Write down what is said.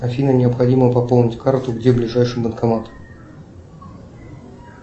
афина необходимо пополнить карту где ближайший банкомат